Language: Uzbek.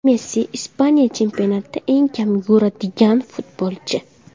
Messi – Ispaniya chempionatida eng kam yuguradigan futbolchi.